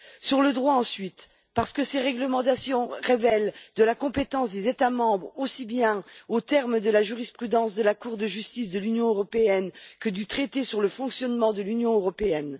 Sur le droit, ensuite, parce que ces réglementations relèvent de la compétence des États membres, en vertu aussi bien de la jurisprudence de la Cour de justice de l'Union européenne que du traité sur le fonctionnement de l'Union européenne.